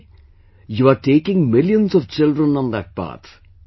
And today you are taking millions of children on that path